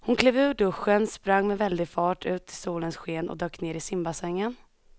Hon klev ur duschen, sprang med väldig fart ut i solens sken och dök ner i simbassängen.